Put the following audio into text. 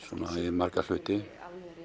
marga hluti